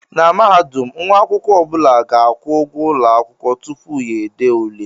Na Mahadum nwa akwụkwọ ọ bụla ga-akwụ ụgwọ ụlọ akwụkwọ tupu ya ede ule